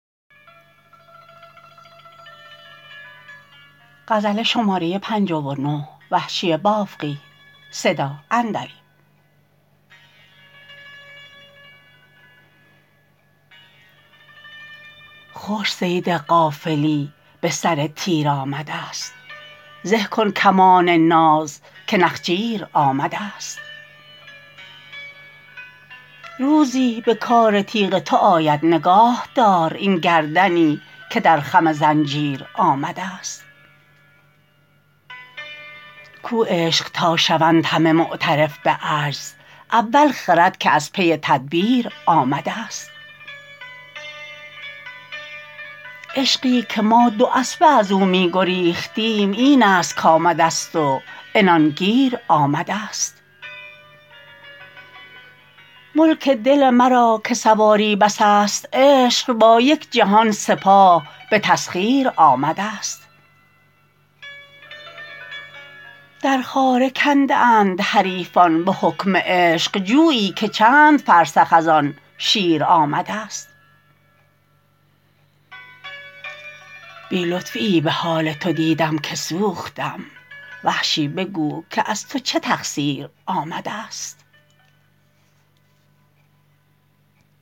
خوش صید غافلی به سر تیر آمده ست زه کن کمان ناز که نخجیر آمده ست روزی به کار تیغ تو آید نگاه دار این گردنی که در خم زنجیر آمده ست کو عشق تا شوند همه معترف به عجز اول خرد که از پی تدبیر آمده ست عشقی که ما دواسبه از او می گریختیم این است کـآمده ست و عنان گیر آمده ست ملک دل مرا که سواری بس است عشق با یک جهان سپاه به تسخیر آمده ست در خاره کنده اند حریفان به حکم عشق جویی که چند فرسخ از آن شیر آمده ست بی لطفی ای به حال تو دیدم که سوختم وحشی بگو که از تو چه تقصیر آمده ست